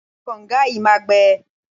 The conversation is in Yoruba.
Omi kànga yìí máa gbẹ.